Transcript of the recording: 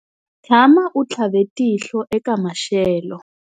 Tshama u tlhave tihlo eka maxelo.